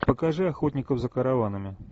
покажи охотников за караванами